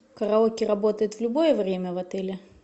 караоке работает в любое время в отеле